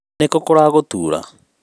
nĩkũ kûragûtura?